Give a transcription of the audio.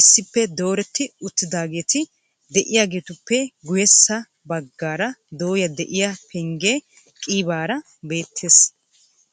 issippe dooreti uttidaageti de'iyaageetuppe guyyessa baggaara dooyya de'iyaa pengge qiibara beettees.